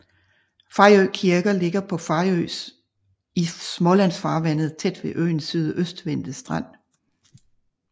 Fejø Kirke ligger på Fejø i Smålandsfarvandet tæt ved øens sydøstvendte strand